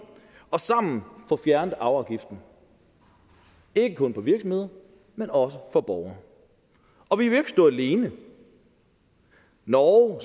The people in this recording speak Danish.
og sammen få fjernet arveafgiften ikke kun for virksomheder men også for borgere og vi vil ikke stå alene norge